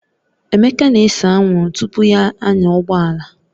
Emeka na-ese anwụrụ tupu ya anya ụgbọala